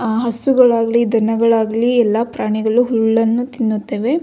ಆ ಹಸುಗಳಾಗ್ಲಿ ದನಗಳಾಗ್ಲಿ ಎಲ್ಲ ಪ್ರಾಣಿಗಳು ಹುಲ್ಲನ್ನು ತಿನ್ನುತ್ತವೆ.